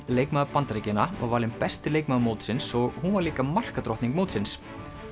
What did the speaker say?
leikmaður Bandaríkjanna var valin besti leikmaður mótsins og hún var líka mótsins